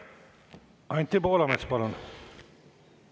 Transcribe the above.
Anti Poolamets, palun!